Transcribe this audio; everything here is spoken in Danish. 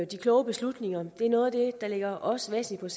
de kloge beslutninger er noget af det der ligger os væsentligt